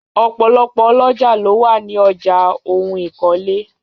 Ọ̀pọ̀lọpọ̀ ọlọ́jà ló wà ní ọjà ohun ìkọ́lé